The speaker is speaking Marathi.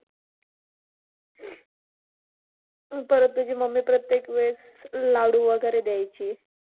मग परत तुझी मम्मी प्रत्येक वेळेस लाडू वगैरे द्यायची.